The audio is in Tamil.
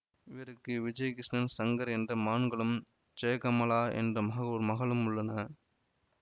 இவருக்கு விஜயகிருஷ்ணன் சங்கர் என்ற மகன்களும் ஜெயகமலா என்ற ஒரு மகளும் உள்ளனர்